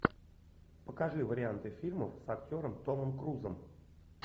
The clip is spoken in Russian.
покажи варианты фильмов с актером томом крузом